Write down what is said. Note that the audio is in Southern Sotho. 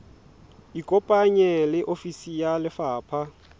ikopanye le ofisi ya lefapha